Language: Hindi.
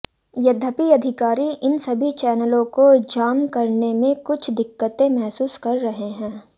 यद्यपि अधिकारी इन सभी चैनलों को जाम करने में कुछ दिक्कतें महसूस कर रहे हैं